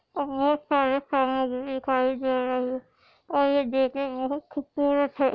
बहुत सारी सामग्री दिखाई दे रही है और ये देखने में बहुत खूबसूरत है।